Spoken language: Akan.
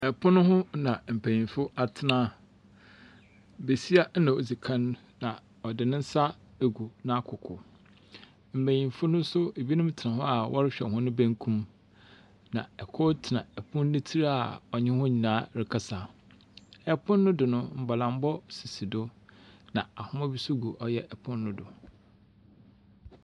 Pon hona mpenyinfo atsena. Besia na odzi kan a ɔdze ne nsa agu n'akokow. Mbenyinfo no nso bino tsena hɔ a wɔrehwɛ hɔn benkum. Na kor tsena pon ne tsir a ɔnye hɔn nyinaa rekasa. Pono do no, mbɔlambɔ sisi di. Na nhoma bi nso gyina ɔyɛ pon no do.